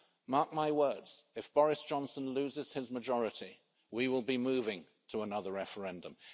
Mark my words, if Boris Johnson loses his majority, we will be moving to another referendum.